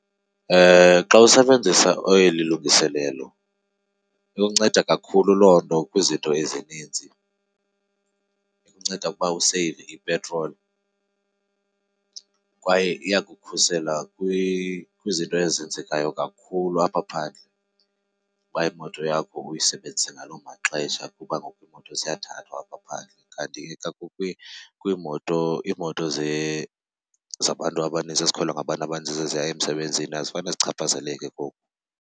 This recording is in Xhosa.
Xa usebenzisa eli lungiselelo ikunceda kakhulu loo nto kwizinto ezininzi. Ikunceda ukuba useyive ipetroli kwaye iyakukhusela kwizinto ezenzekayo kakhulu apha phandle uba imoto yakho uyisebenzise ngaloo maxesha kuba ngoku imoto ziyathathwa apha phandle. Kanti kwiimoto, iimoto zabantu abanintsi ezikhwelwa ngabantu abaninzi eziya emsebenzini azifane zichaphazeleke koku.